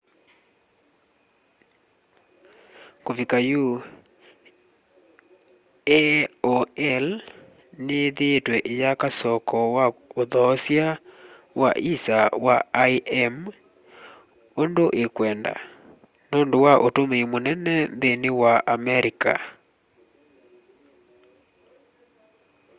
kuvika yu aol ni yithiitwe iyaka soko wa uthoosya wa isa wa im undu ikwenda nundu wa utumii munene nthini wa america